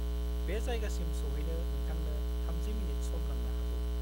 बे जायगासिम सौहैनो नोंथांनो 30 मिनिट सम नांनो हागौ।